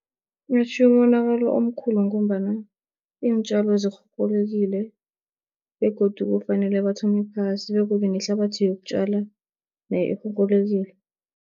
Atjhiye umonakalo omkhulu, ngombana iintjalo zirhurhulekile begodu kufanele bathome phasi begodu nehlabathi yokutjala nayo irhurhulekile.